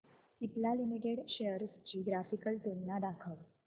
Cipla limited shares ची graphical तुलना दाखव